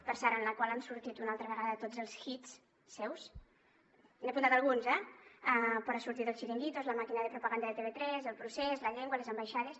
per cert en la qual han sortit una altra vegada tots els hits seus n’he apuntat alguns eh torna a sortir el xiringuito la màquina de propaganda de tv3 el procés la llengua les ambaixades